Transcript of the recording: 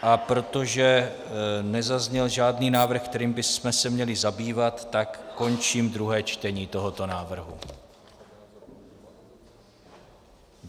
A protože nezazněl žádný návrh, který bychom se měli zabývat, tak končím druhé čtení tohoto návrhu.